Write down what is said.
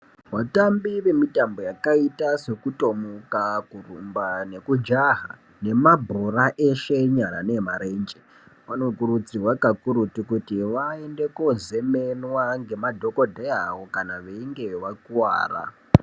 Vatambi vemitambo yakaita sekutomuka, kurumba, nekujaha, nemabhora eshe enyara neemarenje vanokurudzirwa kakurutu kuti vaende kozemenwa ngemadhokodheya avo kana veinge vakuwara.